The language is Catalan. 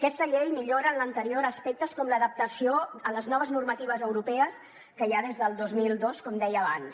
aquesta llei millora l’anterior aspectes com l’adaptació a les noves normatives europees que hi ha des del dos mil dos com deia abans